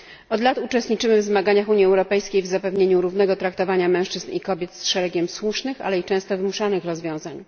Od lat uczestniczymy w zmaganiach Unii Europejskiej w zapewnieniu równego traktowania mężczyzn i kobiet z szeregiem słusznych, ale i często wymuszanych rozwiązań.